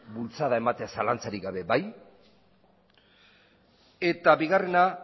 bultzada ematea zalantzarik gabe bai eta bigarrena